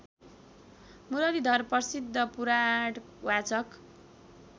मुरलीधर प्रसिद्ध पुराणवाचक